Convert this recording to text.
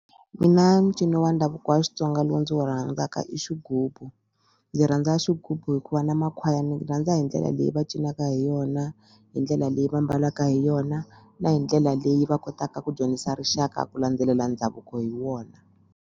Mina ncino wa ndhavuko wa Xitsonga lowu ndzi wu rhandzaka i xighubu ndzi rhandza xigubu hikuva na makhwaya ndzi rhandza hi ndlela leyi va cinaka hi yona hi ndlela leyi va mbalaka hi yona na hi ndlela leyi va kotaka ku dyondzisa rixaka ku landzelela ndhavuko hi wona.